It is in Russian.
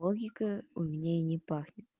логика у меня и не пахнет